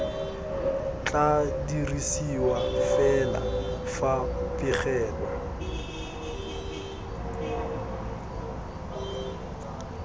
tla dirisiwa fela fa pegelo